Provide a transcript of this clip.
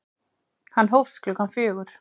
Hann hófst klukkan fjögur.